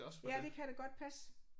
Ja det kan da godt passe